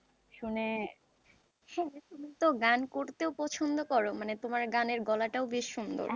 তুমি তো গান করতেও পছন্দ করো মানে তোমার গানের গলাটাও বেশ সুন্দর,